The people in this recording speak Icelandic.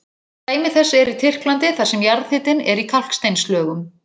Dæmi þess er í Tyrklandi þar sem jarðhitinn er í kalksteinslögum.